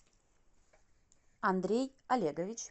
андрей олегович